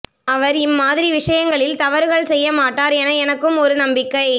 அவர் இம்மாதிரி விஷயங்களில் தவறுகள் செய்யமாட்டார் என எனக்கும் ஒரு நம்பிக்கை